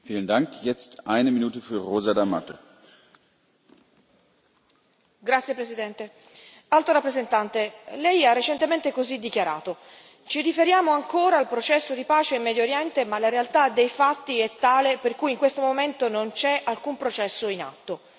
Signor Presidente, onorevoli colleghi, Alto rappresentante, lei ha recentemente così dichiarato Ci riferiamo ancora al processo di pace in Medio Oriente ma la realtà dei fatti è tale per cui in questo momento non c'è alcun processo in atto